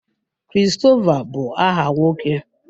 Christopher bu aha nwoke.